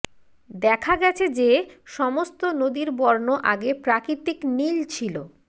দেখা গেছে যে সমস্ত নদীর বর্ণ আগে প্রাকৃতিক নীল ছিল